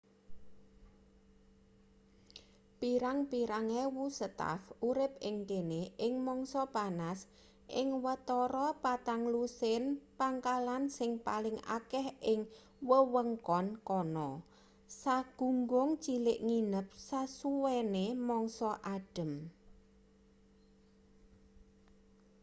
pirang-pirang ewu staf urip ing kene ing mangsa panas ing watara patang lusin pangkalan sing paling akeh ing wewengkon kana sagunggung cilik nginep sasuwene mangsa adhem